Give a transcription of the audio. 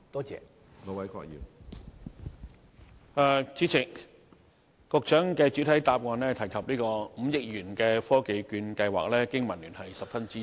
主席，局長在主體答覆提到5億元的"科技券計劃"，香港經濟民生聯盟十分支持。